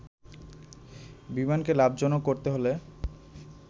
বিমানকে লাভজনক করতে হলে